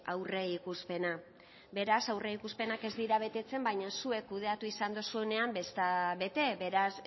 aurreikuspena beraz aurreikuspenak ez dira betetzen baina zuek kudeatu izan duzuenean ez da bete beraz